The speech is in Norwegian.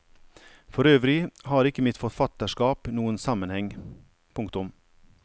For øvrig har ikke mitt forfatterskap noen sammenheng. punktum